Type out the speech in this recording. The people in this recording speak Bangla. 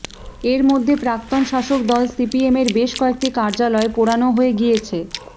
এরইমধ্যে প্রাক্তন শাসক দল সিপিএমের বেশ কয়েকটি কার্যালয় পোড়ানো হয়ে গিয়েছে